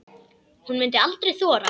Hún mundi aldrei þora.